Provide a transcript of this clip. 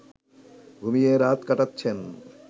ঘুমিয়ে রাত কাটাচ্ছেন